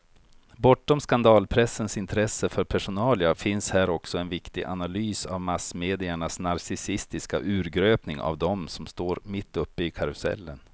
Bortom skandalpressens intresse för personalia finns här också en viktig analys av massmediernas narcissistiska urgröpning av dem som står mitt uppe i karusellen.